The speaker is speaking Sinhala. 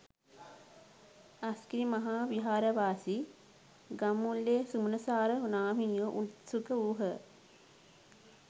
අස්ගිරි මහා විහාරවාසී ගම්මුල්ලේ සුමනසාර නාහිමියෝ උත්සුක වූහ.